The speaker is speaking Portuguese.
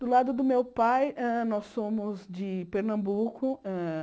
Do lado do meu pai, hã nós somos de Pernambuco hã.